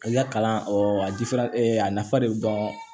I ka kalan a jifirɛ a nafa de be dɔn